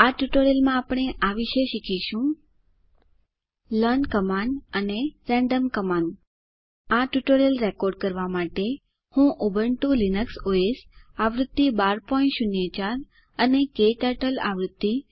આ ટ્યુટોરીયલ માં આપણે આ વિષે શીખીશું લર્ન કમાન્ડ અને રેન્ડમ કમાન્ડ આ ટ્યુટોરીયલ રેકોર્ડ કરવા માટે હું ઉબુન્ટુ લીનક્સ ઓએસ આવૃત્તિ 1204 અને ક્ટર્ટલ આવૃત્તિ